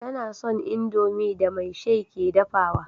Tana son indomie da maishai ke dafawa